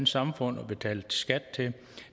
samfund og betaler skat til